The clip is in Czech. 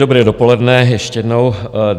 Dobré dopoledne ještě jednou.